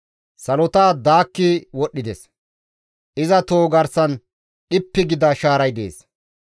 Salota daakki wodhdhides; iza toho garsan dhippi gida shaaray dees.